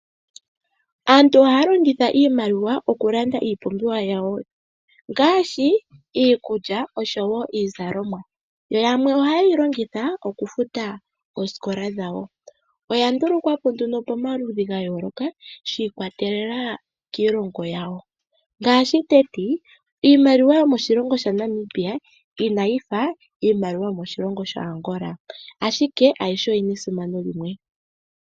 Aantu ohaya longitha iimaliwa okulanda iipumbiwa yawo ngaashi iikulya oshowo iizalomwa, yamwe oha yeyi longitha okufuta oosikola dhawo . Oya ndulukwapo nduno pomaludhi ga yooloka shi ikwatelela kiilongo yawo ,ngaashi iimaliwa yomoshilongo sha Namibia inayifa iimaliwa yomoshilongo sha Angola ,ashike ayihe oyina esimano limwe.